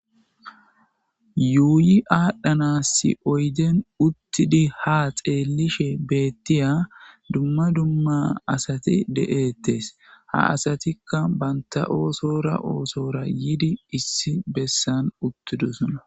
Yuuyi aadhanasi oydden uttidi ha xeellishe beetiya dumma dumma asati de'etees. Ha asatika banta oothora oothora yiidi issi bessan uttidosona.